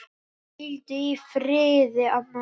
Hvíldu í friði, amma.